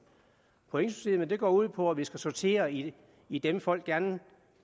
pointsystemet går ud på at vi skal sortere i i dem folk gerne